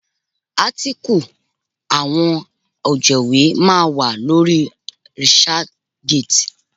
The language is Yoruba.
Átíkù àwọn ọ̀jẹ̀wé máa wà lórí researchgate.